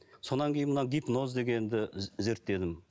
содан кейін мына гипноз дегенді зерттедім